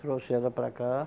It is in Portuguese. Trouxe ela para cá.